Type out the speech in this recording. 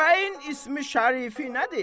Bəyin ismi şərifinədir?